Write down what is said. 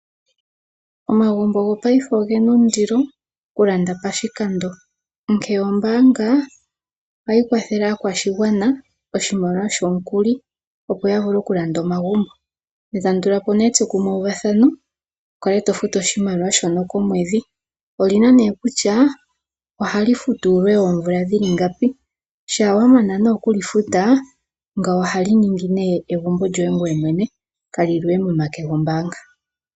Omagumbo gopayife oge na ondilo okulanda pashikando, onkene ombaanga ohayi kwathele aakwashigwana oshimaliwa shomukuli, opo ya vule okulanda omagumbo ne tamu tula po euvathano wu kale to futu oshimaliwa shoka komwedhi. Oli na nduno kutya ohali futwa uule woomvula ngapi. Shampa wa mana oku li futa ngawo ohali ningi nduno egumbo lyoye ngoye mwene kali li we momake gombaanga.